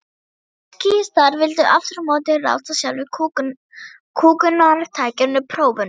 Trotskíistar vildu aftur á móti ráðast að sjálfu kúgunartækinu: prófunum.